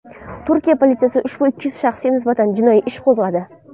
Turkiya politsiyasi ushbu ikki shaxsga nisbatan jinoiy ish qo‘zg‘adi.